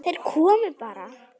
Þeir komu bara.